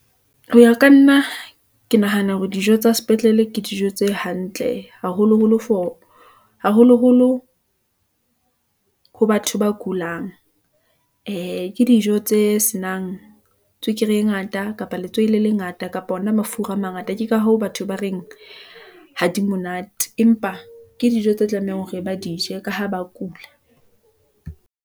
Hoya ka nna ke nahana hore dijo tsa sepetlele, ke dijo tse hantle, haholoholo ho batho ba kulang . Ee ke dijo tse senang tswekere e ngata, kapa letswai le lengata, kapa ona mafura a mangata. Ke ka hoo batho ba reng ha di monate , empa ke dijo tse tlamehang hore ba di je, ka ha ba kula.